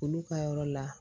Olu ka yɔrɔ la